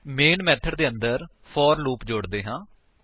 main method ਦੇ ਅੰਦਰ for loop ਜੋੜਦੇ ਹਾਂ